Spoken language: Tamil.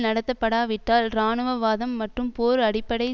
நடத்தப்படாவிட்டால் இராணுவவாதம் மற்றும் போர் அடிப்படை